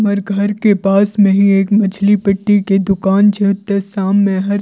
हर घर के पास में ही एक मछली पिट्टी के दुकान छे ओते शाम में हर --